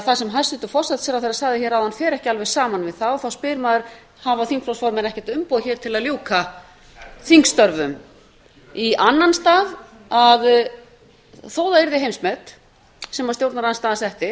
það sem hæstvirtur forsætisráðherra sagði áðan fer ekki alveg saman við það og þá spyr maður hafa þingflokksformenn ekkert umboð hér til að ljúka þingstörfum í annan stað þótt það yrði heimsmet sem stjórnarandstaðan setti